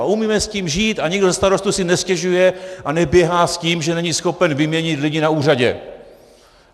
A umíme s tím žít a nikdo ze starostů si nestěžuje a neběhá s tím, že není schopen vyměnit lidi na úřadě.